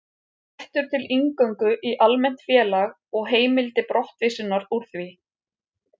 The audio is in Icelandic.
Réttur til inngöngu í almennt félag og heimild til brottvísunar úr því.